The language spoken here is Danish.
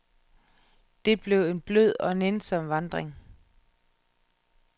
Det blev en blød og nænsom vandring.